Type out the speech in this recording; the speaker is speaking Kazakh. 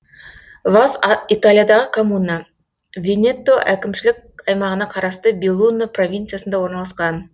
вас италиядағы коммуна венето әкімшілік аймағына қарасты беллуно провинциясында орналасқан